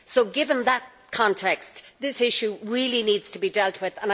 Given that context, this issue really needs to be dealt with.